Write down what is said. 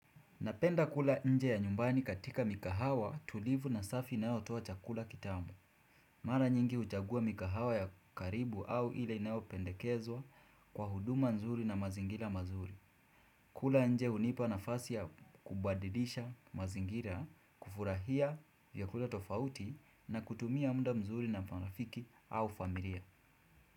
Napenda kula nje ya nyumbani katika mikahawa tulivu na safi inayotuwa chakula kitamu. Mara nyingi uchagua mikahawa ya karibu au ile inaopendekezwa kwa huduma nzuri na mazingira mazuri. Kula nje unipa nafasi ya kubadidisha mazingira, kufurahia vyakula tofauti na kutumia muda mzuri na marafiki au familia.